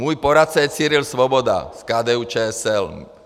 Můj poradce je Cyril Svoboda z KDU-ČSL.